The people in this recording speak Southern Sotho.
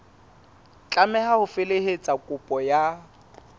tlameha ho felehetsa kopo ka